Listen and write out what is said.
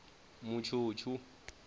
mutshutshu